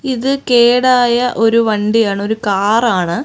ഇത് കേടായ ഒരു വണ്ടിയാണ് ഒരു കാറാണ് .